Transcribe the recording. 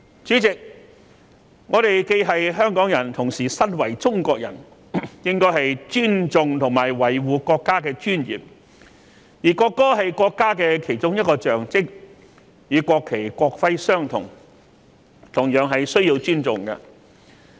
主席，我們既是香港人亦同時身為中國人，應該尊重和維護國家的尊嚴，而國歌是國家的其中一種象徵，與國旗、國徽相同，同樣需要尊重。